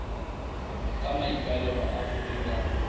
ka maikaelelo a go dira